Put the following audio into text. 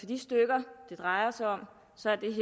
de stykker det drejer sig om